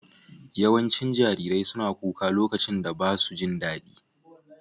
Yawancin jarirai suna kuka lokacin da ba su jin daɗi.